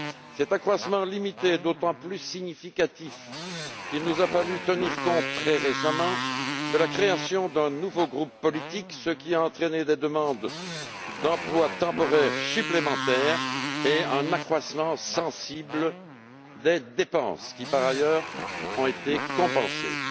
Cet accroissement limité est d'autant plus significatif qu'il nous a fallu tenir compte très récemment de la création d'un nouveau groupe politique, ce qui a entraîné des demandes d'emplois temporaires supplémentaires et une hausse sensible des dépenses, qui ont été compensées par